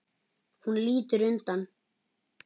Hún lítur undan.